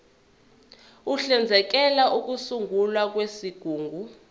uhlinzekela ukusungulwa kwezigungu